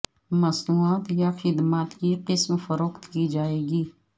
مصنوعات یا خدمات کی قسم فروخت کی جائے گی